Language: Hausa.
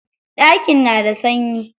Ɗakin na da sanyi.